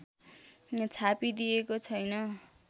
छापिदिएको छैन